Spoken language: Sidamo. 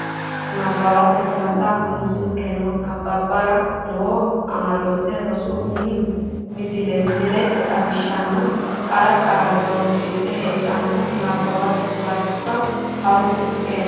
Nabbawate Huwato Ha runsi keeno nabbabbara noo amadote rosu umo misile misilete xawishshanna qara qaalla horonsidhe heddanno Nabbawate Huwato Ha runsi keeno.